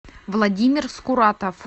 владимир скуратов